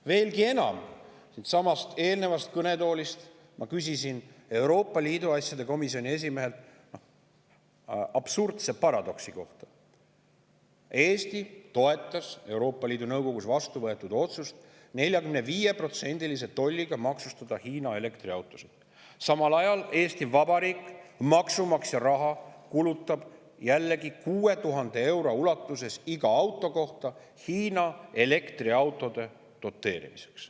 Veelgi enam, eelnevalt siinsamas kõnetoolis olnud Euroopa Liidu asjade komisjoni esimehelt küsisin ma absurdse paradoksi kohta: Eesti toetas Euroopa Liidu Nõukogus vastu võetud otsust maksustada 45%‑lise tolliga Hiina elektriautosid, aga samal ajal Eesti Vabariik kulutab kuni 6000 eurot maksumaksja raha iga auto kohta, ka Hiina elektriautode doteerimiseks.